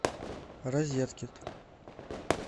розеткид